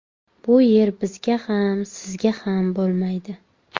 Bu yer bizga ham sizga ham bo‘lmaydi.